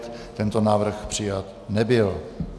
Tento návrh přijat nebyl.